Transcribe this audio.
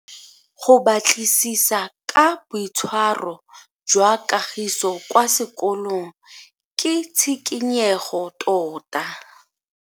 Go batlisisa ka boitshwaro jwa Kagiso kwa sekolong ke tshikinyego tota.